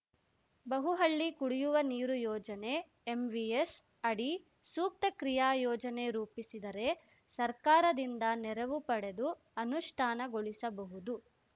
ಬಹುಹಳ್ಳಿ ಕುಡಿಯುವ ನೀರು ಯೋಜನೆಎಂವಿಎಸ್‌ ಅಡಿ ಸೂಕ್ತ ಕ್ರಿಯಾಯೋಜನೆ ರೂಪಿಸಿದರೆ ಸರ್ಕಾರದಿಂದ ನೆರವು ಪಡೆದು ಅನುಷ್ಠಾನಗೊಳಿಸಬಹುದು